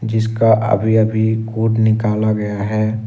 जिसका अभी अभी कोड निकाला गया है।